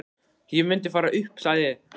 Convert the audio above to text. Ég mundi fara upp, sagði ég.